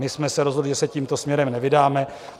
My jsme se rozhodli, že se tímto směrem nevydáme.